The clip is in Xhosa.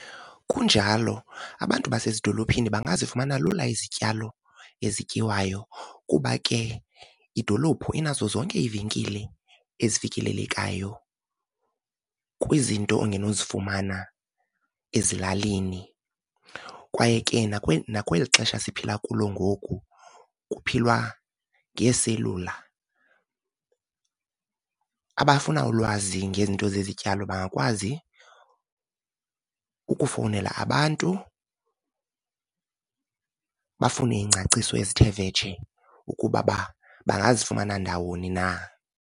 Kunjalo, abantu basezidolophini bangazifumana lula izityalo ezityiwayo kuba ke idolophu inazo zonke iivenkile ezifikelelekayo kwizinto ongenozifumana ezilalini. Kwaye ke nakweli xesha siphila kulo ngoku kuphilwa ngeeselula, abafuna ulwazi ngezinto zezityalo bangakwazi ukufowunela abantu, bafune iingcaciso ezithe vetshe ukuba bangazifumana ndawoni na.